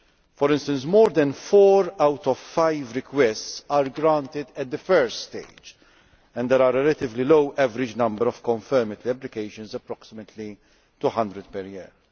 For instance, more than four out of five requests are granted at the first stage, and there is a relatively low average number of confirmatory applications approximately 200 per year.